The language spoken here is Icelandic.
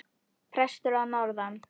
Prestur að norðan!